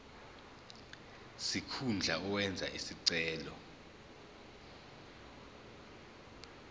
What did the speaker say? sikhundla owenze isicelo